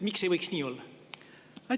Miks ei võiks nii olla?